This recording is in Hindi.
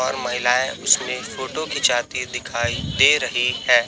और महिलाएं उसमें फोटो खिंचाती दिखाई दे रही हैं।